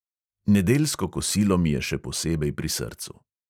Nedeljsko kosilo mi je še posebej pri srcu.